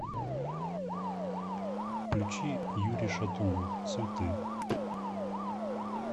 включи юрий шатунов цветы